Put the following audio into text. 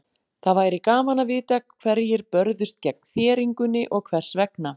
Það væri gaman að vita hverjir börðust gegn þéringunni og hvers vegna.